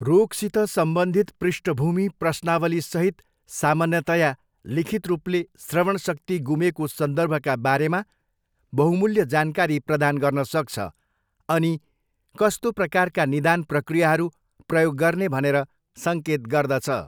रोगसित सम्बन्धित पृष्ठभूमि प्रश्नावलीसहित सामान्यतया लिखित रूपले श्रवणशक्ति गुमेको सन्दर्भका बारेमा बहुमूल्य जानकारी प्रदान गर्न सक्छ अनि कस्तो प्रकारका निदान प्रक्रियाहरू प्रयोग गर्ने भनेर सङ्केत गर्दछ।